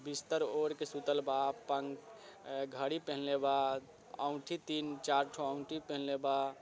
बिस्तर ओढ़ के सुतलबा अपन ए घड़ी पहनले बा ओंगठी तीन-चारठो ओंगठी पहनले बा।